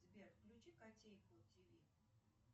сбер включи котейку тв